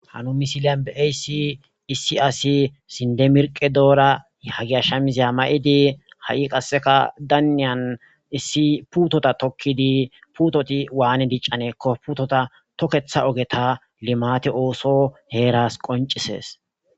Ha nuni misiliyan be aysi issi asi sindemirqe doora hagiashsha mizeya mayidi ha7i qasseka daaniyan issi puutota tokkidi puutoti waane diccanekko putota tokketha ogeta limate ooso heeras qoncisees